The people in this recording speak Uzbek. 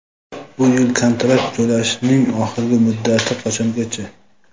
Bu yil kontrakt to‘lashning oxirgi muddati qachongacha?.